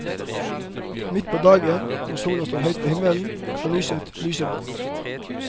Midt på dagen, når sola står høyt på himmelen, er lyset lyseblått.